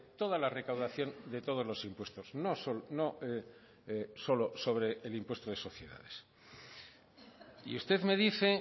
toda la recaudación de todos los impuestos no solo sobre el impuesto de sociedades y usted me dice